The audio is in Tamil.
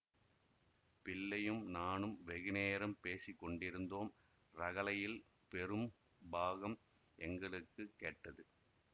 பிள்ளையும் நானும் வெகு நேரம் பேசி கொண்டிருந்தோம் ரகளையில் பெரும் பாகம் எங்களுக்கு கேட்டது